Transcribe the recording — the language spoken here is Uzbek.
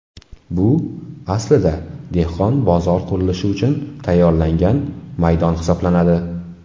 Bu, aslida, dehqon bozor qurilishi uchun tayyorlangan maydon hisoblanadi.